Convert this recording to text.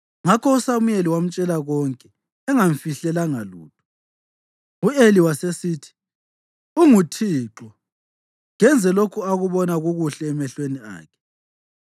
Ngakho uSamuyeli wamtshela konke, engamfihlelanga lutho. U-Eli wasesithi, “ UnguThixo; kenze lokho akubona kukuhle emehlweni akhe.”